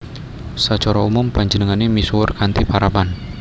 Sacara umum panjenengane misuwur kanthi parapan